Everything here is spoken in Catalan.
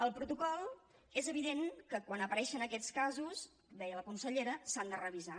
el protocol és evident que quan apareixen aquests casos deia la consellera s’ha de revisar